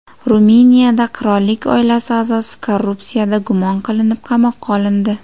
Ruminiyada qirollik oilasi a’zosi korrupsiyada gumon qilinib, qamoqqa olindi.